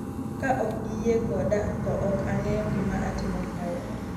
Ka ok giyie koda, to ok ang'eyo gima atimo kae."